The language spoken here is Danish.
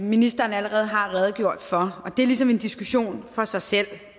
ministeren allerede har redegjort for det er ligesom en diskussion for sig selv